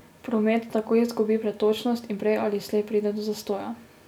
Promet tako izgubi pretočnost in prej ali slej pride do zastoja.